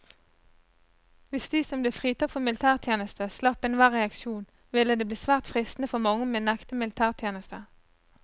Hvis de som ble fritatt for militærtjeneste slapp enhver reaksjon, ville det bli svært fristende for mange å nekte militætjeneste.